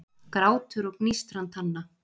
Grátur og gnístran tanna